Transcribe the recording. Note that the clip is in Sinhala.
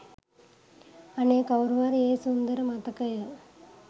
අනේ කවුරු හරි ඒ සුන්දර මතකය